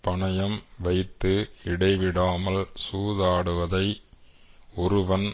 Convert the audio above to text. பணயம் வைத்து இடைவிடாமல் சூதாடுவதை ஒருவன்